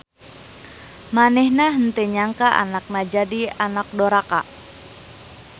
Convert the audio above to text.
Manehna henteu nyangka anakna jadi anak doraka.